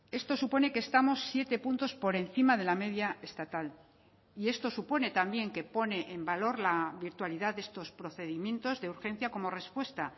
esto supone que estamos siete puntos por encima de la media estatal y esto supone también que pone en valor la virtualidad de estos procedimientos de urgencia como respuesta